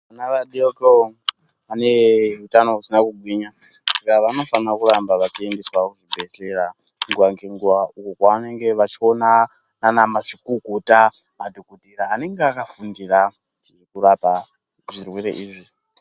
Vana vadoko vanehutano husina kugwinya, vanofanira kuramba vachiendeswa kuzvibhedhlera nguva dzenguva, ukokwavanenge vachiona vana mazvikokota, madhokotera anenge akafundira kurapa zvirwere izvi.